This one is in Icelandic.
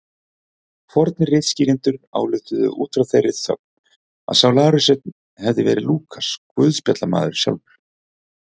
Fornir ritskýrendur ályktuðu út frá þeirri þögn að sá lærisveinn hefði verið Lúkas guðspjallamaður sjálfur.